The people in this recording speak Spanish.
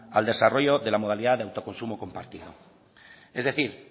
al desarrollo de la modalidad de autoconsumo compartido es decir